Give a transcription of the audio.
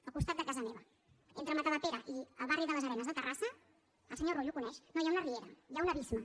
al costat de casa meva entre matadepera i el barri de les arenes de terrassa el senyor rull ho coneix no hi ha una riera hi ha un abisme